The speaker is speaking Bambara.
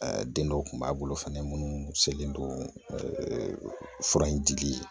den dɔw kun b'a bolo fɛnɛ munnu selen don ɛɛ fura in dili ye